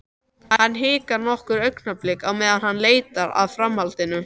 Hann hikar nokkur augnablik á meðan hann leitar að framhaldinu.